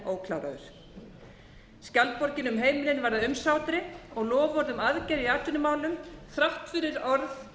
enn ókláraður skjaldborgin um heimilin varð að umsátri og loforð um aðgerðir í atvinnumálum þrátt fyrir